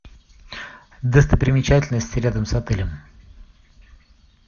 достопримечательности рядом с отелем